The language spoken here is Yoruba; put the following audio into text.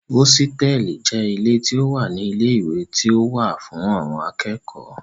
Hósítẹ̀ẹ̀lì jẹ́ ilé tí ó wà ní ilé ìwé tí ó wà fún àwọn akẹ́kọ̀ọ́